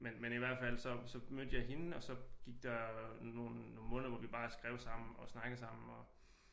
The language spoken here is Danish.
Men i hvert fald så mødte jeg hende og så gik der nogle nogle måneder hvor vi bare skrev sammen og snakkede sammen og